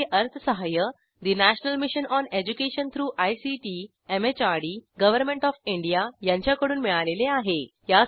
यासाठी अर्थसहाय्य national mission on education through ICT MHRD government of India यांच्याकडून मिळालेले आहे